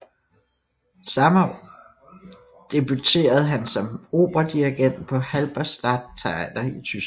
Samme år debuterede han som operadirigent på Halberstadt Theater i Tyskland